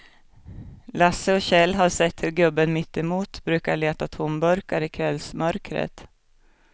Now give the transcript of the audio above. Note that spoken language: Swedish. Lasse och Kjell har sett hur gubben mittemot brukar leta tomburkar i kvällsmörkret.